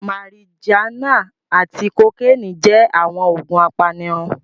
Marijuana ati kokeeni jẹ awọn oogun apanirun